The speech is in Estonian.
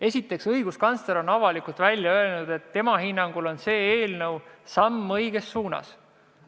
Esiteks, õiguskantsler on avalikult välja öelnud, et tema hinnangul on see eelnõu samm õiges suunas.